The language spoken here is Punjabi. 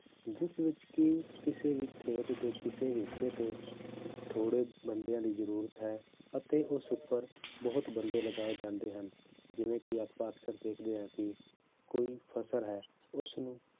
ਜਿਸ ਵਿੱਚ ਕਿ ਕਿਸੇ ਵੀ ਖੇਤ ਦੇ ਕਿਸੇ ਵੀ ਹਿੱਸੇ ਤੇ ਥੋੜ੍ਹੇ ਬੰਦਿਆਂ ਦੀ ਜ਼ਰੂਰਤ ਹੈ ਅਤੇ ਉਸ ਉੱਪਰ ਬਹੁਤ ਬੰਦੇ ਲਗਾਏ ਜਾਂਦੇ ਹਨ, ਜਿਵੇਂ ਕਿ ਆਪਾਂ ਅਕਸਰ ਦੇਖਦੇ ਹਾਂ ਕਿ ਕੋਈ ਫਸਲ ਹੈ ਉਸਨੂੰ